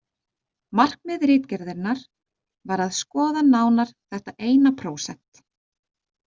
Markmið ritgerðarinnar var að skoða nánar þetta eina prósent.